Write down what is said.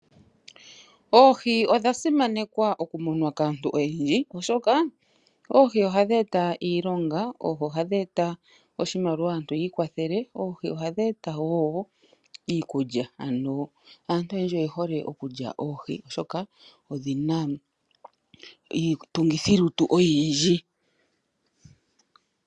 Oohi odha simanekwa okumunwa kaantu oyendji, oshoka oohi ohadhi eta iilonga, oshimaliwa aantu ya vule okwii kwathela. Oohi ohadhi eta wo iikulya, aantu oyendji oye hole okulya oohi oshoka odhina iitungithilutu oyindji.